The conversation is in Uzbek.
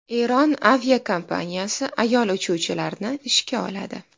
Eron aviakompaniyasi ayol uchuvchilarni ishga oladi.